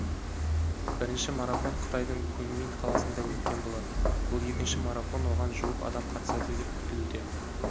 бірінші марафон қытайдың куньмин қаласында өткен болатын бұл екінші марафон оған жуық адам қатысады деп күтілуде